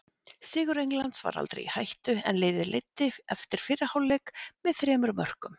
Sigur Englands var aldrei í hættu en liðið leiddi eftir fyrri hálfleik með þremur mörkum.